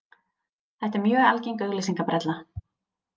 Þetta er mjög algeng auglýsingabrella.